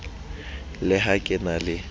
le ha ke na le